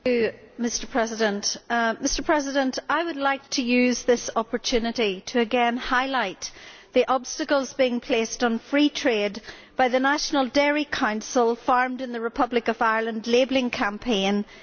Mr President, I would like to use this opportunity to again highlight the obstacles being placed on free trade by the National Dairy Council's Farmed in the Republic of Ireland' labelling campaign in the Republic of Ireland.